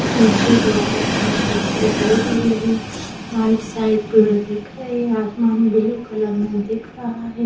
पीछे भी कुछ घर दिखाई दे रहे है राइट साइड पेड़ दिख रहे है आसमान ब्लू कलर मे दिख रहा है।